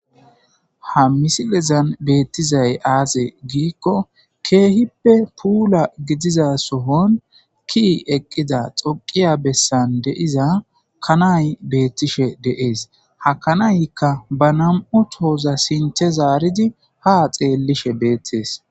Ha misileza betizay aze gikon keehippe puula gidiza sohon ke'i eqida xoqiya besan de'iza kanay betishe de'es. Ha kanayka ba 2 tohoza sinthe arid ha xelishe betes.